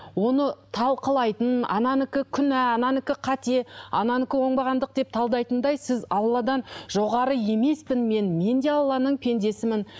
оны талқылайтын ананікі күнә ананікі қате ананікі оңбағандық деп талдайтындай сіз алладан жоғары емеспін мен мен де алланың пендесімін